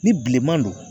Ni bilenman don